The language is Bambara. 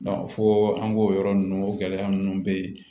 fo an k'o yɔrɔ ninnu o gɛlɛya ninnu bɛ yen